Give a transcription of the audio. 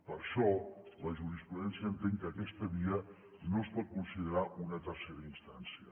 per això la jurisprudència entén que aquesta via no es pot considerar una tercera instància